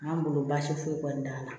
An bolo baasi foyi kɔni t'an na